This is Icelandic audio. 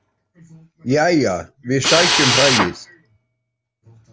Jæja, við sækjum hræið.